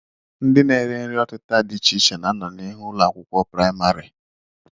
Ndị na-ere nri ọtịta dị iche iche na-anọ n'ihu ụlọakwụkwọ praịmarị